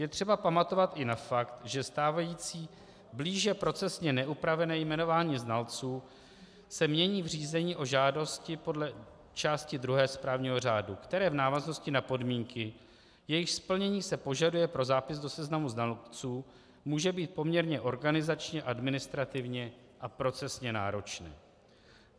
Je třeba pamatovat i na fakt, že stávající blíže procesně neupravené jmenování znalců se mění v řízení o žádosti podle části druhé správního řádu, které v návaznosti na podmínky, jejichž splnění se požaduje pro zápis do seznamu znalců, může být poměrně organizačně, administrativně a procesně náročné.